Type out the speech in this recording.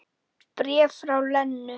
Bréf frá Lenu.